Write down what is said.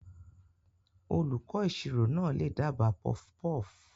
Olùkọ́ ìṣirò náà lè dábàá puffpuff.